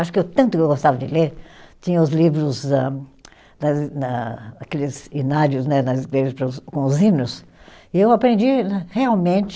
Acho que eu tanto que eu gostava de ler, tinha os livros âh, das e, na aqueles hinários, né, nas igrejas com os hinos, e eu aprendi né realmente